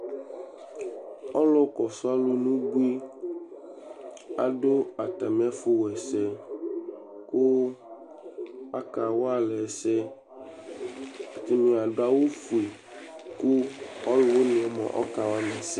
ɔlo kɔsu alo n'ubui ado atami ɛfu w'ɛsɛ kò aka wa alɛ ɛsɛ ɛdini ado awu fue kò ɔlòwiniɛ moa ɔka wa m'ɛsɛ